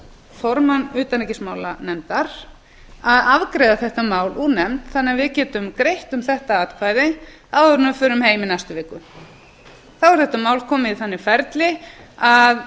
formann utanríkismálanefndar að afgreiða þetta mál úr nefnd þannig að við getum greitt um þetta atkvæði áður en við förum heim í næstu viku þá er þetta mál komið í þannig ferli að